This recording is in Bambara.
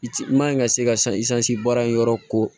I ti man ɲi ka se ka i sanji baara in yɔrɔ ko